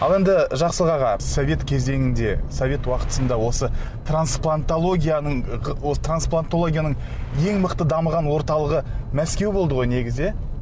ал енді жақсылық аға совет кезеңінде совет уақытында осы трансплантологияның осы трансплантологияның ең мықты дамыған орталығы мәскеу болды ғой негізі иә